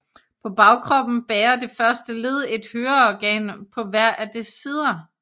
På bagkroppen bærer det første led et høreorgan på hver af dets sider